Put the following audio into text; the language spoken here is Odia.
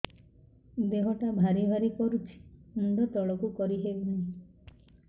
ଦେହଟା ଭାରି ଭାରି କରୁଛି ମୁଣ୍ଡ ତଳକୁ କରି ହେଉନି